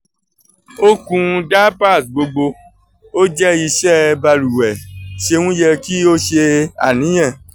o kun diapers gbogbo - o jẹ iṣẹ baluwe! ṣeun yẹ ki o ṣe aniyan?